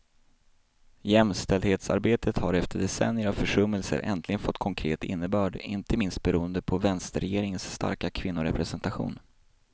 Jämställdhetsarbetet har efter decennier av försummelser äntligen fått konkret innebörd, inte minst beroende på vänsterregeringens starka kvinnorepresentation.